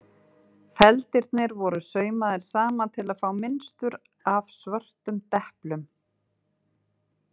Feldirnir voru saumaðir saman til að fá mynstur af svörtum deplum.